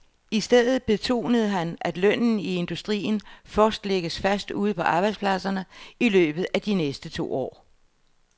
I stedet betonede han, at lønnen i industrien først lægges fast ude på arbejdspladserne i løbet af de næste to år.